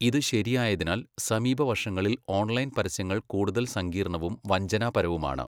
ഇത് ശരിയായതിനാൽ, സമീപ വർഷങ്ങളിൽ ഓൺലൈൻ പരസ്യങ്ങൾ കൂടുതൽ സങ്കീർണ്ണവും വഞ്ചനാപരവുമാണ്.